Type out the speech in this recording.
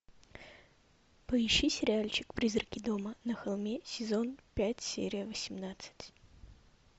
поищи сериальчик призраки дома на холме сезон пять серия восемнадцать